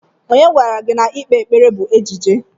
Onye gwara gị na ikpe ekpere bụ ejije?